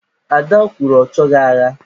Ada kwuru, ọ choghị agha.